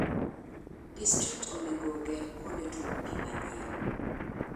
District onego oger kuonde tuomo pii manyien.